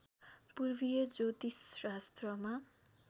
पूर्वीय ज्योतिषशास्त्रमा